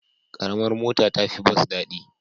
Ƙaramar mota ta fi bas daɗi.